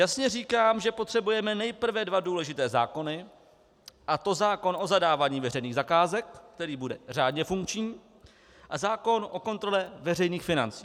Jasně říkám, že potřebujeme nejprve dva důležité zákony, a to zákon o zadávání veřejných zakázek, který bude řádně funkční, a zákon o kontrole veřejných financí.